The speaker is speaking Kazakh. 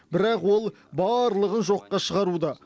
бірақ ол барлығын жоққа шығаруда